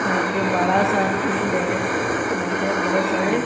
यहां पे बड़ा सा फील्ड है यहां पे बहुत सारे--